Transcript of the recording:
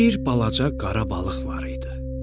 Bir balaca qara balıq var idi.